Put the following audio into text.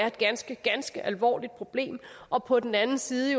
et ganske ganske alvorligt problem og på den anden side